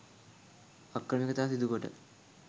අක්‍රමිකතා සිදුකොට